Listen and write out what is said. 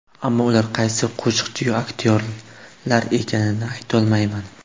Ammo ular qaysi qo‘shiqchiyu aktyorlar ekanligini aytolmayman.